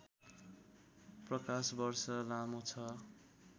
प्रकाशवर्ष लामो छ